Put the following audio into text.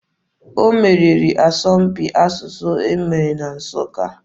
O meriri n'asọmpi asụsụ e mere na Nsụka.